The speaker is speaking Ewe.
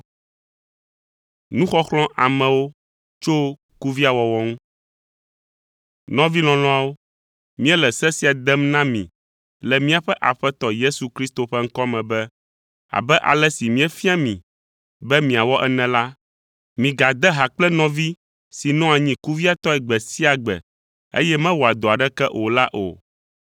Nɔvi lɔlɔ̃awo, míele se sia dem na mi le míaƒe Aƒetɔ Yesu Kristo ƒe ŋkɔ me be: Abe ale si míefia mi be miawɔ ene la, migade ha kple nɔvi si nɔa anyi kuviatɔe gbe sia gbe, eye mewɔa dɔ aɖeke o la o.